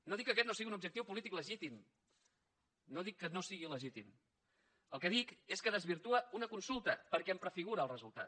no dic que aquest no sigui un objectiu polític legítim no dic que no sigui legítim el que dic és que desvirtua una consulta perquè en prefigura el resultat